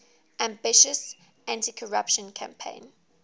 ambitious anticorruption campaign